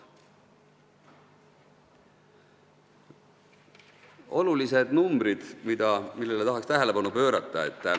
Toon mõned olulised numbrid, millele tahan tähelepanu juhtida.